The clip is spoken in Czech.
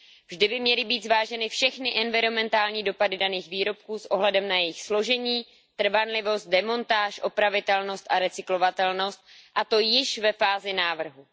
Vždy by měly být zváženy všechny environmentální dopady daných výrobků s ohledem na jejich složení, trvanlivost, demontáž, opravitelnost a recyklovatelnost, a to již ve fázi návrhu.